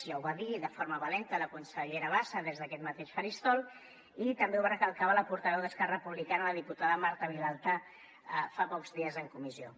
ja ho va dir de forma valenta la consellera bassa des d’aquest mateix faristol i també ho recalcava la portaveu d’esquerra republicana la diputada marta vilalta fa pocs dies en comissió